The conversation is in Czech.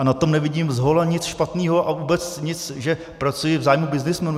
A na tom nevidím zhola nic špatného a vůbec nic, že pracuji v zájmu byznysmenů.